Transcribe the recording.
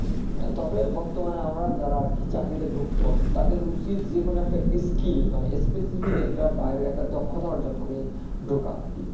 তবে বর্তমানে আমরা যারা আরকি চাকরিতে ঢুকব তাদের উচিত যেকোনো একটা skill মানে specific একটা বাইরের একটা দক্ষতা অর্জন করে রাখা দরকার